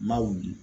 N m'a wuli